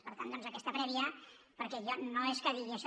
per tant doncs aquesta prèvia perquè jo no és que digui això